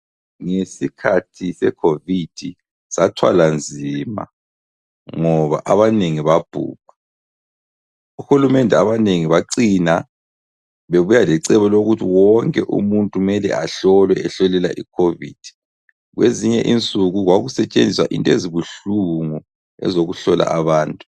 Ngesikhathi secovid sathwala nzima ngoba abanengi babhubha, uhulumende abanegi bacina bebuya lecebo lokuthi wonke umuntu kumele ahlolwe ahlolelwe icovid kwezinye insuku kwakusetshenziswa into ezibuhlungu ezokuhlola abantu.